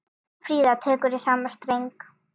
Fríða tekur í sama streng.